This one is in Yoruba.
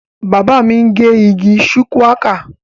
Bàbá mi ń gé igi shuwaka